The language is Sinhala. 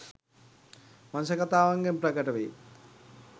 වංශකතාවන්ගෙන් ප්‍රකට වේ.